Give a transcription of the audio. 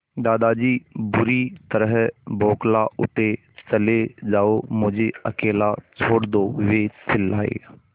दादाजी बुरी तरह बौखला उठे चले जाओ मुझे अकेला छोड़ दो वे चिल्लाए